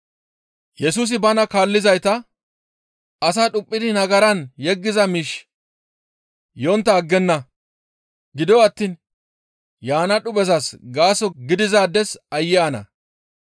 Yesusi bana kaallizayta, «Asa dhuphidi nagaran yeggiza miishshi yontta aggenna; gido attiin yaana dhuphezas gaaso gidizaades aayye ana!